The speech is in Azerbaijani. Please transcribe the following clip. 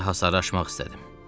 Gecə hasarı aşmaq istədim.